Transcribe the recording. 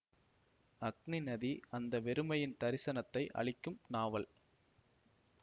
அக்னிநதி அந்த வெறுமையின் தரிசனத்தை அளிக்கும் நாவல்